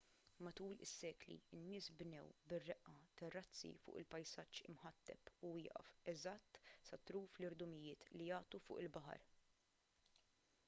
matul is-sekli in-nies bnew bir-reqqa terrazzi fuq il-pajsaġġ imħatteb u wieqaf eżatt sa truf l-irdumijiet li jagħtu fuq il-baħar